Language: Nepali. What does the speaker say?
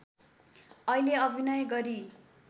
अहिले अभिनय गरी